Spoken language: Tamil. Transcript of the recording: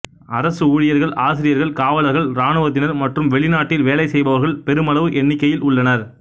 அரசு ஊழியர்கள் ஆசிரியர்கள் காவலர்கள் இராணுவத்தினர் மற்றும் வெளிநாட்டில் வேலை செய்பவர்கள் பெருமளவு எண்ணிக்கையில் உள்ளனர்